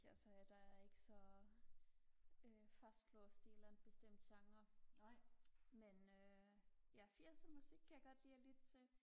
altså der er jeg ikke så øh fastlåst i en eller anden bestemt speciel genre men øh ja firser musik kan jeg godt lide og lytte til